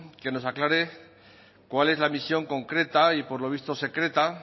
que nos aclare cuál es la misión concreta y por lo visto secreta